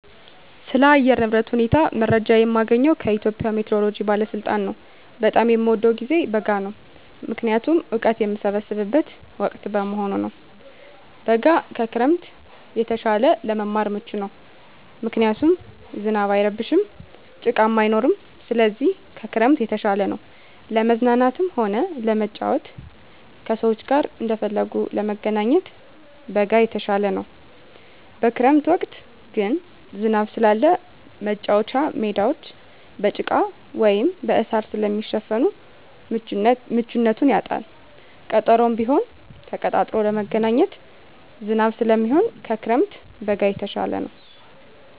ስለ አየር ንብረት ሁኔታ መረጃ የማገኘዉ ከኢትዮጵያ ሜትሮሎጂ ባለስልጣን ነዉ። በጣም የምወደዉ ጊዜ በጋ ነዉ ምክንያቱም እወቀት የምሰበስብበት ወቅት በመሆኑ ነዉ። በጋ ከክረምት የተሻለ ለመማር ምቹ ነዉ ምክንያቱም ዝናብ አይረብሽም ጭቃም አይኖርም ስለዚህ ከክረምት የተሻለ ነዉ። ለመዝናናትም ሆነ ለመጫወት ከሰዉ ጋር እንደፈለጉ ለመገናኘት በጋ የተሻለ ነዉ። በክረምት ወቅት ግን ዝናብ ስላለ መቻወቻ ሜዳወች በጭቃ ወይም በእሳር ስለሚሸፈን ምቹነቱን ያጣል ቀጠሮም ቢሆን ተቀጣጥሮ ለመገናኘት ዝናብ ስለሚሆን ከክረምት በጋ የተሻለ ነዉ።